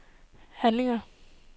handlinger